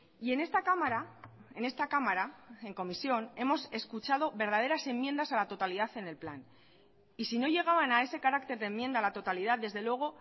y en esta cámara en esta cámara en comisión hemos escuchado verdaderas enmiendas a la totalidad en el plan y si no llegaban a ese carácter de enmienda a la totalidad desde luego